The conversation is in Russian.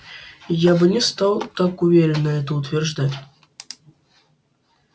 я бы не стал так уверенно это утверждать